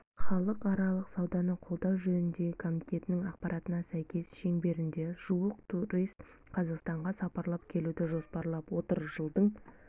халықаралық сауданы қолдау жөніндегі комитетінің ақпаратына сәйкес шеңберінде жуық турист қазақстанға сапарлап келуді жоспарлап отыр жылдың